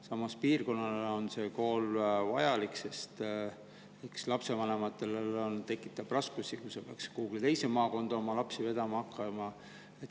Samas piirkonnale on see kool vajalik, lapsevanematele tekitaks raskusi, kui nad peaksid hakkama oma lapsi vedama kuhugi teise maakonda.